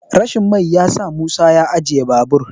rashin mai ya sa musa ajiye babur